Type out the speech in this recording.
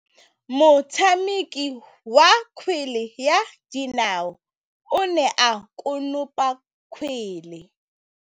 Motshameki wa kgwele ya dinaô o ne a konopa kgwele.